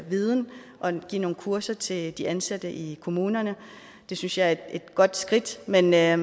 viden og give nogle kurser til de ansatte i kommunerne det synes jeg er et godt skridt men vi er